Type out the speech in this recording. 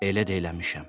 Elə də eləmişəm.